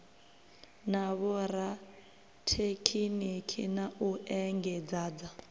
na vhorathekhiniki na u engedzadza